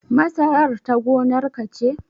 Masarar ta gonar ka ce?